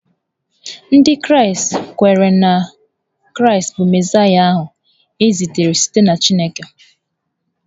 Ndị Kraịst kweere na Kraịst bụ Mesaịa ahụ e zitere site na Chineke.